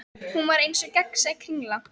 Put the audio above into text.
Hún var eins og gegnsæ kringla.